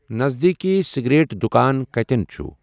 نزدیٖٖکی cigarette دُۄکان کَتِین چُھ ؟